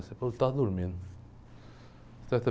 Você fala eu estava dormindo. Você até